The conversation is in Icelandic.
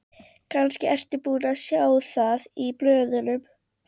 Kannski ertu búinn að sjá það í blöðunum.